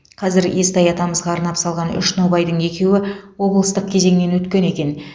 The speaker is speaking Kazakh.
қазір естай атамызға арнап салған үш нобайдың екеуі облыстық кезеңнен өткен екен